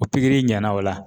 O pikiri ɲɛna o la